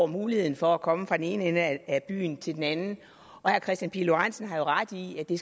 muligheden for at komme fra den ene ende af byen til den anden og herre kristian pihl lorentzen har jo ret i i